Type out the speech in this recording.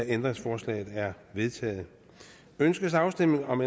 ændringsforslaget er vedtaget ønskes afstemning om